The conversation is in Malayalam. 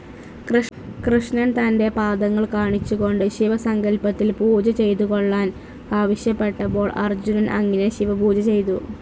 കൃഷ്ണൻ തൻ്റെ പാദങ്ങൾ കാണിച്ചുകൊണ്ട് ശിവസങ്കല്പത്തിൽ പൂജ ചെയ്തുകൊള്ളാൻ ആവശ്യപ്പെട്ടപ്പോൾ അർജുനൻ അങ്ങനെ ശിവപൂജ ചെയ്തു.